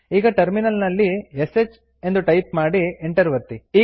ಈಗ ಟರ್ಮಿನಲ್ ನಲ್ಲಿ ಶ್ ಟೈಪ್ ಮಾಡಿ ಎಂಟರ್ ಒತ್ತಿ